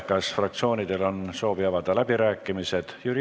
Kas fraktsioonidel on soovi avada läbirääkimised?